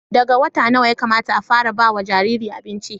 daga wata nawa Yakamata a fara bawa Jariri abinci